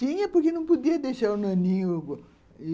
Tinha, porque não podia deixar o naninho ali.